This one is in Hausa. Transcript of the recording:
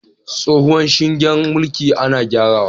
Tsohuwar shingen mulki ana gyarawa